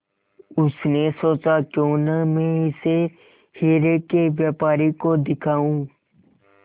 उसने सोचा क्यों न मैं इसे हीरे के व्यापारी को दिखाऊं